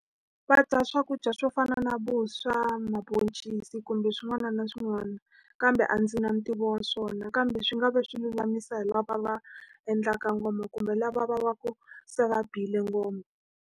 Va dya swakudya swo fana na vuswa, maboncisi, kumbe swin'wana na swin'wana kambe a ndzi na ntivo wa swona. Kambe swi nga va swi lulamisa hi lava va endlaka ngoma, kumbe lava va va ku se va bile ngoma.